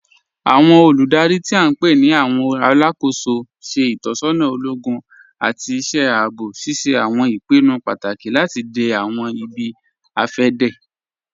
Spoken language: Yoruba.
Awọn olúdárí tí a npe ni awọn alákó̩sọ ṣẹ̀ itọsọna ologun àti iṣẹ̀ àabọ̀, ṣíṣẹ̀ awọn ìpìnnú pátákì láti dẹ̀ awọn ìbí-afẹdẹ.